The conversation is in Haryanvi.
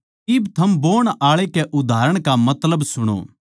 इब थम बोण आळे के उदाहरण का मतलब सुणो